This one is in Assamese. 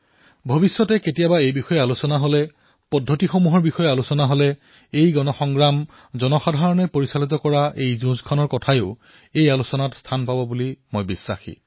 ভৱিষ্যতে যেতিয়া এই বিষয়ে চৰ্চা হব ইয়াৰ প্ৰণালীসমূহৰ বিষয়ে চৰ্চা হব মোৰ বিশ্বাস যে ভাৰতৰ এই জনসাধাৰণৰ দ্বাৰা পৰিচালিত যুঁজৰ বিষয়ে নিশ্চয়কৈ চৰ্চা হব